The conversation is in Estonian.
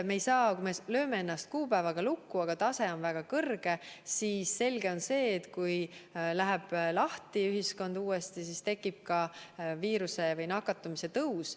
Kui me lööme ennast kuupäevaga lukku, aga ohutase on väga kõrge, siis selge on see, et kui ühiskond läheb uuesti lahti, tekib viiruse või nakatumise tõus.